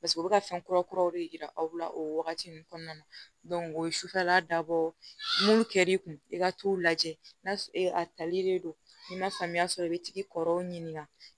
Paseke u bɛ ka fɛn kura kuraw de yira aw la o wagati ninnu kɔnɔna na o ye sufɛla dabɔ n'olu kɛl'i kun i ka t'o lajɛ n'a sɔrɔ a tali de don n'i ma faamuya sɔrɔ i be t'i kɔrɔw ɲininka